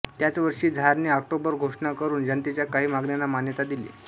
त्याच वर्षी झारने ऑक्टोबर घोषणा करून जनतेच्या काही मागण्यांना मान्यता दिली